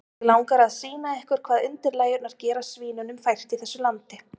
Mig langar að sýna ykkur hvað undirlægjurnar gera svínunum fært í þessu landi.